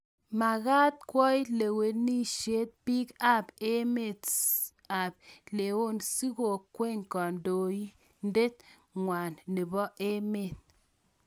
Magaat kwao lewenishet biik ab emet ab leeone sikokwei kandoindet ngwang nebo emet.